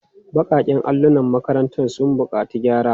Baƙaƙen allolin makarantar suna buƙatar gyara.